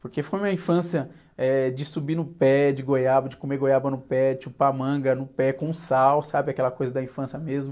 Porque foi uma infância, eh, de subir no pé de goiaba, de comer goiaba no pé, de chupar manga no pé com sal, sabe aquela coisa da infância mesmo?